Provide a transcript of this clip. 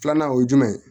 Filanan o ye jumɛn ye